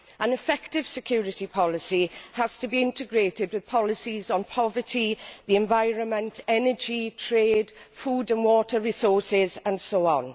An effective security policy has to be integrated with policies on poverty, the environment, energy, trade, food and water resources and so on.